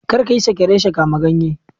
Kai kayi Sake reshe, kama ganye?